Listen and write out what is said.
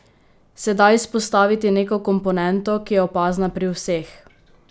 Se da izpostaviti neko komponento, ki je opazna pri vseh?